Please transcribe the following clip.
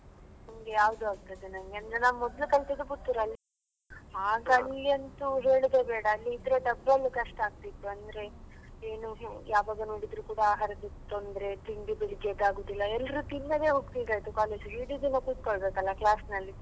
ನನಿಗೆ ಯಾವ್ದು ಆಗ್ತದೆ ನಂಗೆ ಅಂದ್ರೆ ನಾನು ಮೊದ್ಲು ಕಲ್ತದ್ದು Puttur ಅಲ್ಲಿ ಆಗ ಅಲ್ಲಿ ಅಂತೂ ಹೇಳುದೇ ಬೇಡ ಅಲ್ಲಿ ಇದ್ರೆ ಕಷ್ಟ ಆಗ್ತಿತ್ತು ಅಂದ್ರೆ ಏನು ಯಾವಾಗ ನೋಡಿದ್ರು ಕೂಡ ಆಹಾರದ ತೊಂದ್ರೆ ತಿಂಡಿ ಬೆಳ್ಳಿಗ್ಗೆ ಈದ್ ಆಗುದಿಲ್ಲ ಎಲ್ರು ತಿನ್ನದೇ ಹೋಗ್ತಿದ್ದದ್ದು college ಗೆ ಇಡೀ ದಿನ ಕೂತ್ಕೊಳ್ಬೇಕಲ್ಲ class ನಲ್ಲಿ.